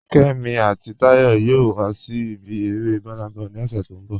Kẹ́mí àti Táyọ̀ yòò wà sí ibi èrè Burnaboy ni ọṣẹ̀ tó nbọ̀.